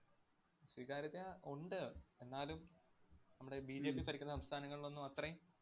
സ്വീകാര്യത ഉണ്ട്. എന്നാലും നമ്മുടെ BJP ഭരിക്കുന്ന സംസ്ഥാനങ്ങളിലൊന്നും അത്രേം